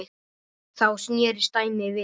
Þá snerist dæmið við.